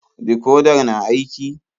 Dikodar na aiki?